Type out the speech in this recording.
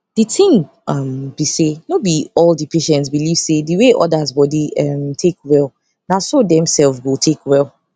di ting um be say no be all the patients believe say the way others body um take well naso dem sef go take well